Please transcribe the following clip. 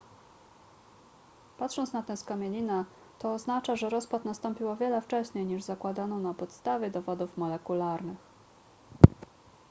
patrząc na tę skamielinę to oznacza że rozpad nastąpił o wiele wcześniej niż zakładano na podstawie dowodów molekularnych